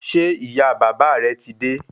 Ṣé ìyá bàbá rẹ ti dé?